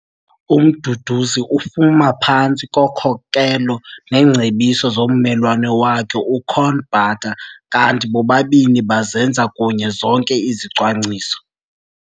UMduduzi ufama phantsi kokhokelo neengcebiso zommelwane wakhe, uCorne Butter, kanti bobabini bazenza kunye zonke izicwangciso.